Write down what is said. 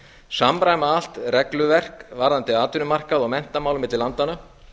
samræma allt regluverk varðandi atvinnumarkað og menntamál milli landanna